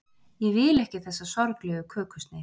ég vil ekki þessa sorglegu kökusneið